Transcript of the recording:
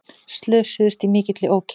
Slösuðust í mikilli ókyrrð